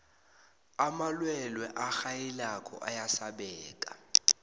amalwelwe arhayilako ayasabeka